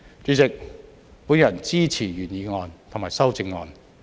主席，我支持原議案及修正案。